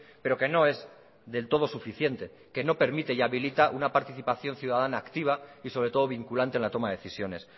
pero que no es del todo suficiente que no permite y habilita una participación ciudadana activa y sobre todo vinculante en la toma de decisiones